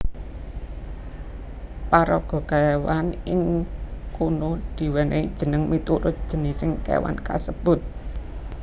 Paraga kéwan ing kono diwènèhi jeneng miturut jinising kéwan kasebut